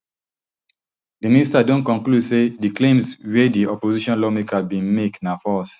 di minister don conclude say di claims wia di opposition lawmaker bin make na false